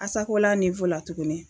ASACOLA la tuguni.